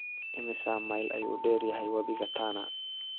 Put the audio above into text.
Immisa mayl ayuu dheer yahay wabiga Tana?